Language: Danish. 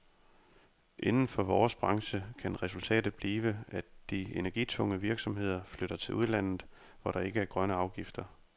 Inden for vores branche kan resultatet blive, at de energitunge virksomheder flytter til udlandet, hvor der ikke er grønne afgifter.